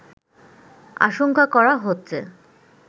আশঙ্কা করা হচ্ছে